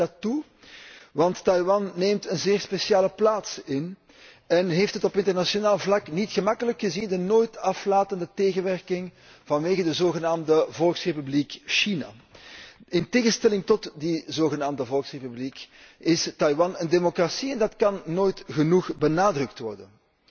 Ik juich dat toe, want Taiwan neemt een zeer speciale plaats in en heeft het op internationaal vlak niet gemakkelijk, gezien de nooit aflatende tegenwerking van de zogenaamde Volksrepubliek China. In tegenstelling tot die zogenaamde volksrepubliek is Taiwan een democratie, en dat kan nooit genoeg benadrukt worden.